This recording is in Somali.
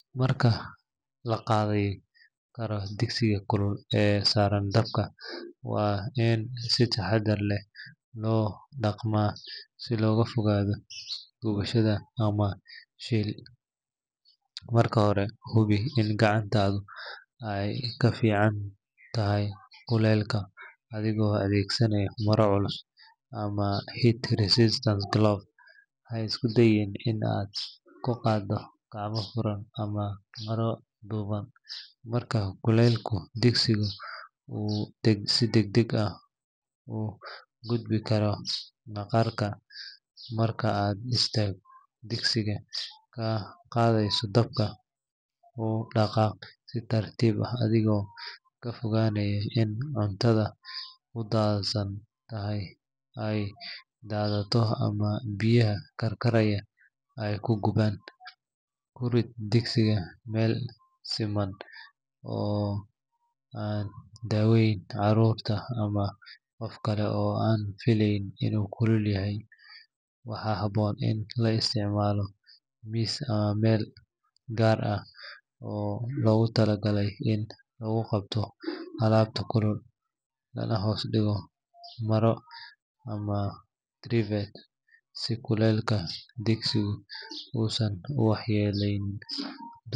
Marka la ka qaaday karo digsiga kulul ee saaran dabka, waa in si taxaddar leh loo dhaqmaa si looga fogaado gubasho ama shil. Marka hore hubi in gacantaadu ay ka difaacan tahay kulaylka adigoo adeegsanaya maro culus ama heat-resistant glove. Ha isku dayin in aad ku qaaddo gacmo furan ama maro dhuuban maadaama kulaylka digsigu uu si degdeg ah u gubi karo maqaarka. Marka aad digsigii ka qaadayso dabka, u dhaqaaq si tartiib ah adigoo ka fogaanaya in cuntadu ku kaydsan tahay ay daato ama biyaha karkaraya ay ku gubaan. Ku rid digsiga meel siman oo aan u dhoweyn carruur ama qof kale oo aan filayn inuu kulul yahay. Waxaa habboon in la isticmaalo miis ama meel gaar ah oo loogu talagalay in lagu qabto alaabta kulul, lana hoos dhigo maro ama trivet si kulaylka digsigu uusan u waxyeelaynin.